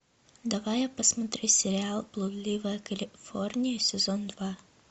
давай я посмотрю сериал блудливая калифорния сезон два